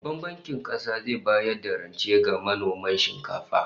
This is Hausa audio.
Babban Bankin Kasa zai bayar da rance ga manoman shinkafa